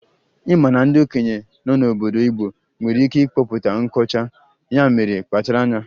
Ị ma na ndị okenye nọ n'obodo Igbo nwere ikike ịkpọpụta nkọcha, ya mere kpachara anya